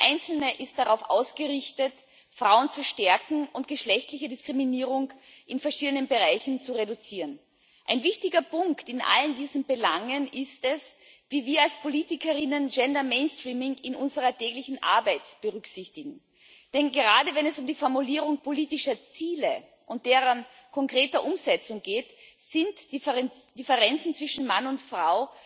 Jeder einzelne ist darauf ausgerichtet, Frauen zu stärken und geschlechtliche Diskriminierung in verschiedenen Bereichen zu reduzieren. Ein wichtiger Punkt in all diesen Belangen ist, wie wir als PolitikerInnen Gender Mainstreaming in unserer täglichen Arbeit berücksichtigen. Denn gerade, wenn es um die Formulierung politischer Ziele und deren konkrete Umsetzung geht, sind Differenzen zwischen Mann und Frau